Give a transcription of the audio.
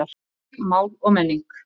Reykjavík, Mál og Menning.